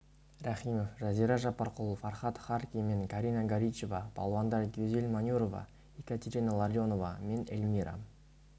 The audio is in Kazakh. рахимов жазира жаппарқұл фархад харки мен карина горичева палуандар гюзель манюрова екатерина ларионова мен эльмира